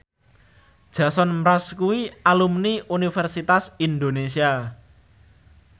Jason Mraz kuwi alumni Universitas Indonesia